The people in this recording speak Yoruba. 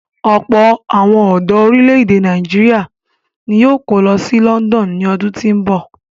Ọ̀pọ̀ àwọn ọ̀dọ orílè-èdè Nàìjíríà ni yóò kó lọ sí London ní ọdún tí ń bọ̀.